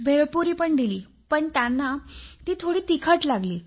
भेळपुरी पण दिली पण त्यांना ती थोडी तिखट लागली